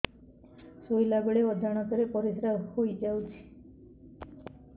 ଶୋଇଲା ବେଳେ ଅଜାଣତ ରେ ପରିସ୍ରା ହେଇଯାଉଛି